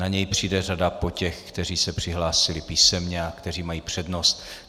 Na něj přijde řada po těch, kteří se přihlásili písemně a kteří mají přednost.